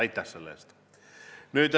Aitäh selle eest!